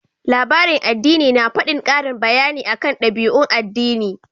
Labaran addini na faɗin ƙarin bayani akan ɗabi'un addini.